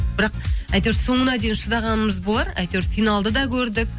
бірақ әйтеуір соңына дейін шыдағанымыз болар әйтеуір финалды да көрдік